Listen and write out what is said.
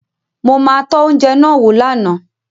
Mo ma tọ́ oúnjẹ náà wò lánàá